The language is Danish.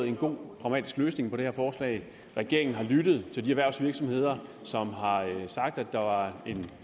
en god pragmatisk løsning vedrørende det her forslag regeringen har lyttet til de erhvervsvirksomheder som har sagt at der var en